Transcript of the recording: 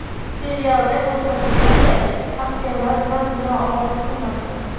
Serialda ko‘rsatilganday, askarlar bilan bino oldida turmagan.